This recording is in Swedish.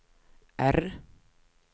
R